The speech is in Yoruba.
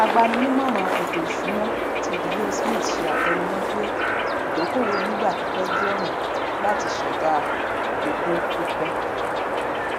agbani nimoran ètò ìṣúná ti ìdílé smith ṣe atenumo pe idokoowo onígbà pípé je ona láti ṣẹda ogún pípé